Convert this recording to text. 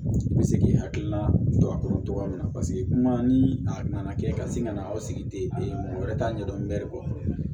I bɛ se k'i hakilina don a kɔnɔ cogo min na paseke kuma ni a nana kɛ ka sin ka na aw sigi ten mɔgɔ wɛrɛ t'a ɲɛ dɔn mɛri bɔ